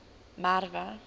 merwe